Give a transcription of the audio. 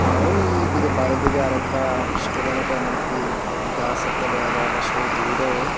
আর ঐদিকে বাইরের দিকে আরেকটা স্টোরের মতো এমনকি গাস একটা দেখা যায় আকাশের ভিউটাও।